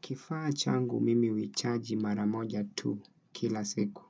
Kifaa changu mimi huichaji maramoja tu kila siku.